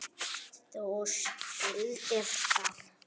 Þú skildir það.